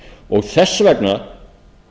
og þess vegna